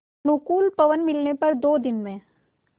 अनुकूल पवन मिलने पर दो दिन में